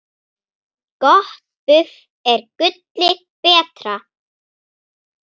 Gott buff er gulli betra.